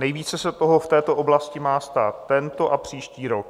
Nejvíce se toho v této oblasti má stát tento a příští rok.